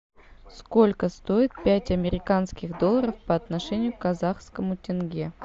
сколько стоит пять американских долларов по отношению к казахскому тенге